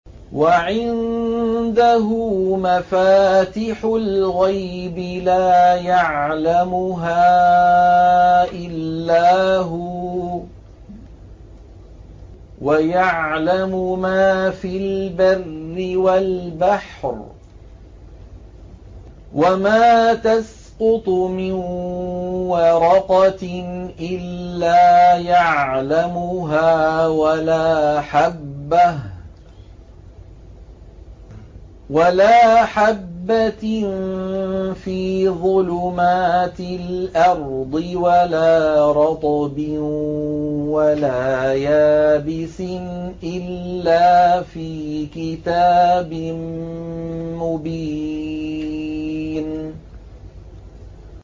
۞ وَعِندَهُ مَفَاتِحُ الْغَيْبِ لَا يَعْلَمُهَا إِلَّا هُوَ ۚ وَيَعْلَمُ مَا فِي الْبَرِّ وَالْبَحْرِ ۚ وَمَا تَسْقُطُ مِن وَرَقَةٍ إِلَّا يَعْلَمُهَا وَلَا حَبَّةٍ فِي ظُلُمَاتِ الْأَرْضِ وَلَا رَطْبٍ وَلَا يَابِسٍ إِلَّا فِي كِتَابٍ مُّبِينٍ